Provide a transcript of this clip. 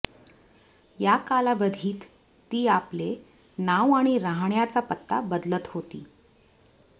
या कालावधीत ती आपले नाव आणि राहण्याचा पत्ता बदलत होती